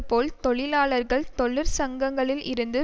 போல் தொழிலாளர்கள் தொழிற்சங்கங்களில் இருந்து